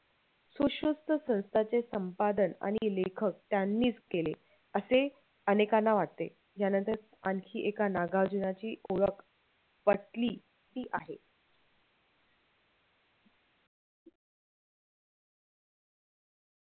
सुश्रूस्त संस्थाचे संपादन आणि लेखक त्यांनीच केले असे अनेकांना वाटते त्यानंतर आणखी एका नागार्जुनाची ओळख पटली ती आहे.